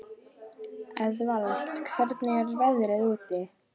Eðvald, hvernig er veðrið úti?